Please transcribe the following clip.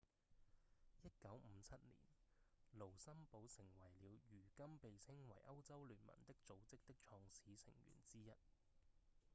1957年盧森堡成為了如今被稱為歐洲聯盟的組織的創始成員之一